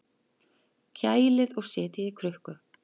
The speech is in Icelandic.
Kælið og setjið í krukku.